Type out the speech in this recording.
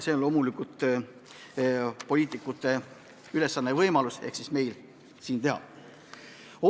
See on loomulikult poliitikute ülesanne ja meil oleks võimalus siin midagi ära teha.